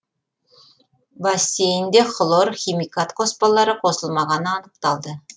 бассейінде хлор химикат қоспалары қосылмағаны анықталды